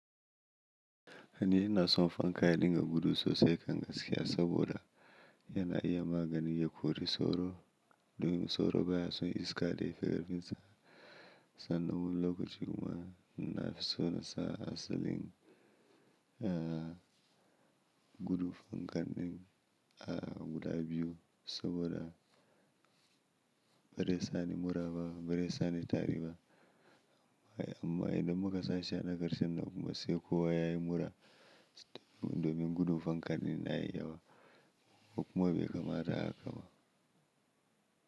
Ayy ni inaa son fanka ya dinga gudu sosai kan gaskiya saboda yana iya maganin yakori soro domin soro baya son iska da ife garkinta. Sannan wul lokacin kuma nafi so na sa asalin, ah gudu fankan ɗin a guda biyu saboda bazai sani mura ba bazai sani tari ba. Amma idan muka sa shi a na karshe nan kuma sai kowa yayi mura domin gudun fankan ɗin yayi yawa. Kukuma bai kamata a kama.